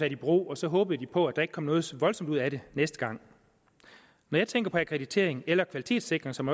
i brug og så håbede de på at der ikke kom noget så voldsomt ud af det næste gang når jeg tænker på akkreditering eller kvalitetssikring som